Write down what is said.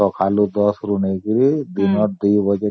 ମୋର ସକାଳ ୧୦ ରୁ ଦିନ ୨ ଟା ଯାଏ ଏସବୁ